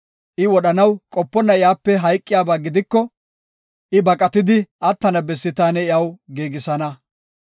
I wodhanaw qoponna iyape hayqiyaba gidiko, I baqatidi attana bessi taani iyaw giigisana.